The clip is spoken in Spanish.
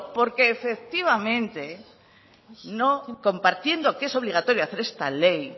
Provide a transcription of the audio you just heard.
porque efectivamente no compartiendo que es obligatorio hacer esta ley